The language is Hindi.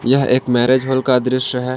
यह एक मैरिज हाल का दृश्य है।